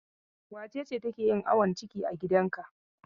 Wace ce take yin awon ciki a gidanka?